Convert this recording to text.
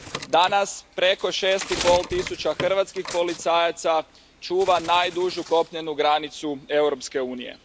Danas, preko šest i pol tisuća hrvatskih policajaca čuva najdužu kopnenu granicu Europske unije.